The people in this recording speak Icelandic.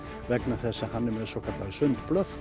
vegna þess að hann er með svokallaðar